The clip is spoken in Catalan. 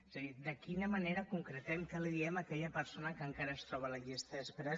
és a dir de quina manera concretem què li diem a aquella persona que encara es troba a la llista d’espera